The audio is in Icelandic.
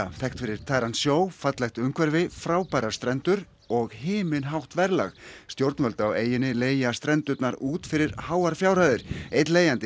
þekkt fyrir tæran sjó fallegt umhverfi frábærar strendur og himinhátt verðlag stjórnvöld á eyjunni leigja strendurnar út fyrir háar fjárhæðir einn leigjandi